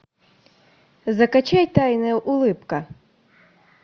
закачай тайная улыбка